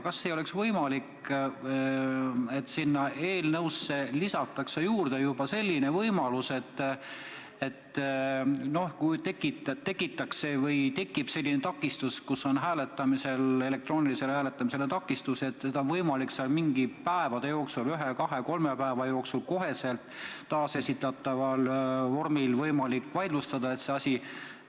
Kas ei oleks võimalik eelnõusse lisada selline võimalus, et kui tekitatakse või tekib elektroonilisel hääletamisel takistus, siis on võimalik mõne päeva jooksul, näiteks ühe, kahe või kolme päeva jooksul taasesitatavas vormis hääletus vaidlustada?